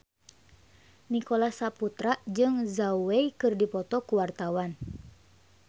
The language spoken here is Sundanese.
Nicholas Saputra jeung Zhao Wei keur dipoto ku wartawan